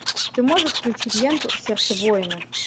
ты можешь включить ленту сердце воина